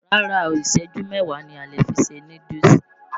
Rárá o, ìṣẹ́jú mẹ́wáà ni a lè fi se núdúùsù.